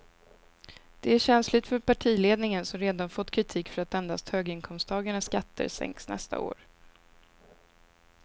Det är känsligt för partiledningen som redan fått kritik för att endast höginkomsttagarnas skatter sänks nästa år.